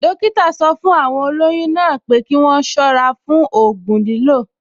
Dọ́kítà sọ fún àwọn olóyún náà pé kí wọ́n ṣọ́ra fún ògùn lílò